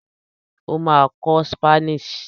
O ma kọ Spanish